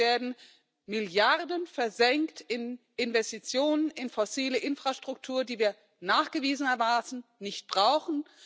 Sprich Hier werden Milliarden versenkt in Investitionen, in fossile Infrastruktur, die wir nachgewiesenermaßen nicht brauchen.